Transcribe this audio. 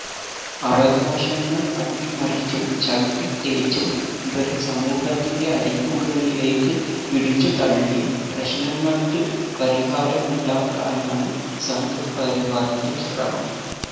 അവകാശങ്ങള് അട്ടിമറിച്ചും ചവിട്ടിത്തേച്ചും ഇവരെ സമൂഹത്തിന്റെ അരികുകളിലേക്ക് പിടിച്ചുതള്ളിയും പ്രശ്നങ്ങള്ക്ക് പരിഹാരമുണ്ടാക്കാനാണ് സംഘ് പരിവാറിന്റെ ശ്രമം